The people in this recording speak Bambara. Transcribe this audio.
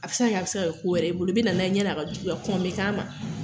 A bɛ se ka kɛ, a bɛ se ka kɛ ko wɛrɛ ye i bolo, i bɛ na n'a ye yani a ka juguya, kɔn bɛ k'a ma